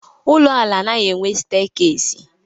Ụlọala anaghị enwe steekesi.